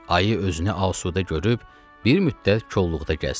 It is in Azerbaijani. Ayı özünü asudə görüb bir müddət kolluqda gəzdi.